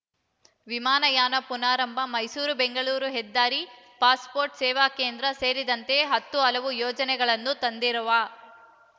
ವಿಮಾನಯಾನ ಪುನಾರಂಭ ಮೈಸೂರು ಬೆಂಗಳೂರು ಹೆದ್ದಾರಿ ಪಾಸ್‌ ಪೋರ್ಟ್‌ ಸೇವಾ ಕೇಂದ್ರ ಸೇರಿದಂತೆ ಹತ್ತು ಹಲವು ಯೋಜನೆಗಳನ್ನು ತಂದಿರುವ